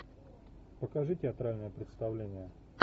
покажи театральное представление